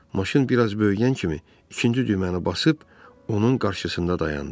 Maşın bir az böyüyən kimi ikinci düyməni basıb onun qarşısında dayandı.